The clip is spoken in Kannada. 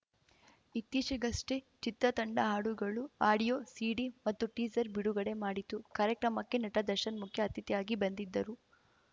ಇತ್ತೀಚೆಗಷ್ಟೆಚಿತ್ರ ತಂಡ ಹಾಡುಗಳು ಆಡಿಯೋ ಸೀಡಿ ಮತ್ತು ಟೀಸರ್‌ ಬಿಡುಗಡೆ ಮಾಡಿತು ಕಾರ್ಯಕ್ರಮಕ್ಕೆ ನಟ ದರ್ಶನ್‌ ಮುಖ್ಯ ಅತಿಥಿಯಾಗಿ ಬಂದಿದ್ದರು